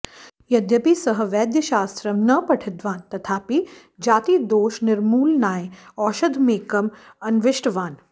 यद्यपि सः वैद्यशास्त्रं न पठितवान् तथापि जातिदोषनिर्मूलनाय औषधमेकम् अन्विष्टवान्